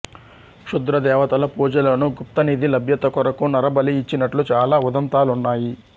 క్షుద్ర దేవతల పూజలోను గుప్త నిధి లబ్యత కొరకు నరబలి ఇచ్చినట్లు చాల ఉదంతాలున్నాయి